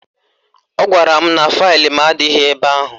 Ọ gwara m na faịlụ m adịghị ebe ahụ